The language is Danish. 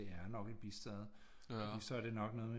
Det er nok et bistad for så er det nok noget med